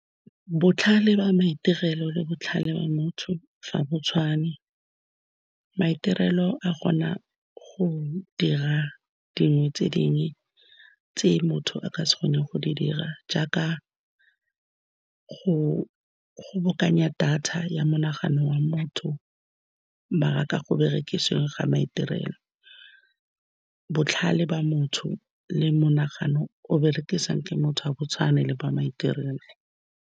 Botlhale ba maitirelo le botlhale ba motho ga bo tshwane, maitirelo a kgona go dira dingwe tse dingwe tse motho a ka se kgone go di dira, jaaka go kgobokanya data ya monagano wa motho. Ba rata go berekisiweng ga maiterelo, botlhale ba motho le monagano o berekisiwang ke motho wa botshwane le ba maiterelo.